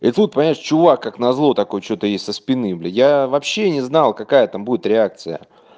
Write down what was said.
и тут понимаешь чувак как назло такой что-то ей со спины блядь я вообще не знал какая там будет реакция